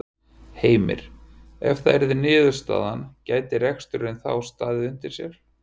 Heimir: Ef það yrði niðurstaðan gæti reksturinn þá staðið undir sér?